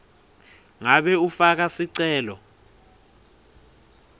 ngabe ufaka sicelo